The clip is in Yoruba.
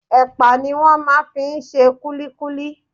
Ẹ̀pà ni wọ́n máa ń fi ń ṣe kullíkúlí.